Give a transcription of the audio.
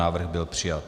Návrh byl přijat.